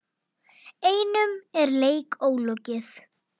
Einum leik er ólokið.